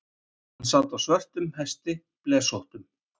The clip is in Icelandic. Hann sat á svörtum hesti, blesóttum.